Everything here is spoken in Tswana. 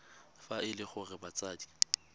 fa e le gore batsadi